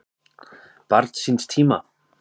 Barn síns tíma?